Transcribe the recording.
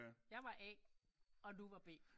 Jeg var A og du var B